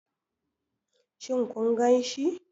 Shin kun ganshi?